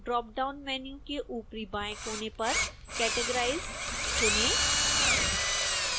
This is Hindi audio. drop down menu के ऊपरी बाएं कोने पर categorized चुनें